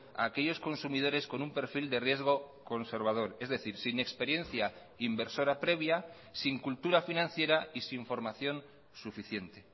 a aquellos consumidores con un perfil de riesgo conservador es decir sin experiencia inversora previa sin cultura financiera y sin formación suficiente